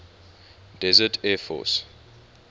desert air force